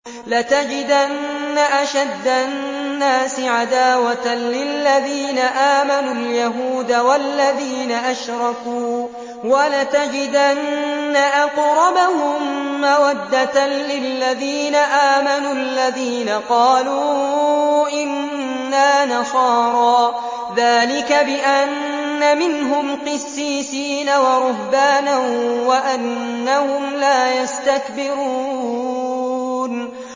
۞ لَتَجِدَنَّ أَشَدَّ النَّاسِ عَدَاوَةً لِّلَّذِينَ آمَنُوا الْيَهُودَ وَالَّذِينَ أَشْرَكُوا ۖ وَلَتَجِدَنَّ أَقْرَبَهُم مَّوَدَّةً لِّلَّذِينَ آمَنُوا الَّذِينَ قَالُوا إِنَّا نَصَارَىٰ ۚ ذَٰلِكَ بِأَنَّ مِنْهُمْ قِسِّيسِينَ وَرُهْبَانًا وَأَنَّهُمْ لَا يَسْتَكْبِرُونَ